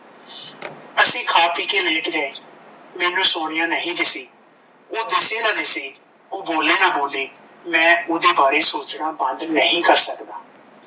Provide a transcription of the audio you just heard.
ਅਸੀਂ ਖਾ ਪੀ ਕੇ ਲੇਟ ਗਏ ਮੈਨੂੰ ਸੋਨੀਆ ਦਿਸੀ ਓਹ ਦੋਸ਼ੀ ਤਾਂ ਨਹੀਂ ਸੀ ਓਹ ਬੋਲੇ ਨਾਂ ਬੋਲੇ ਮੈਂ ਉਹਦੇ ਬਾਰੇ ਸੋਚਣਾ ਬੰਦ ਨਹੀਂ ਕਰ ਸਕਦਾ